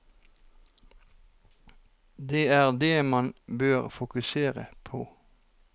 Det er dét man bør fokusere på.